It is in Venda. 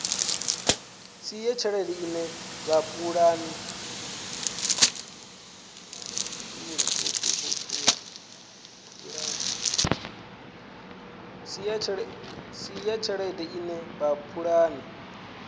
si ya tshelede ine vhapulani